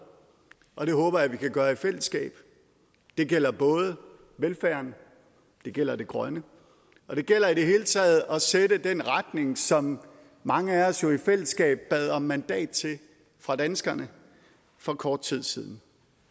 og det håber jeg vi kan gøre i fællesskab det gælder både velfærden det gælder det grønne og det gælder i det hele taget når at sætte den retning som mange af os jo i fællesskab bad om mandat til fra danskerne for kort tid siden